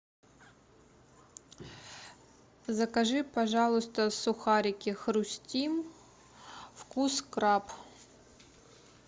закажи пожалуйста сухарики хрустим вкус краб